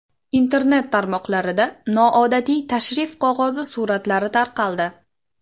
Internet tarmoqlarida noodatiy tashrif qog‘ozi suratlari tarqaldi .